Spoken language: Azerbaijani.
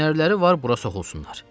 Hünərləri var bura soxulsunlar.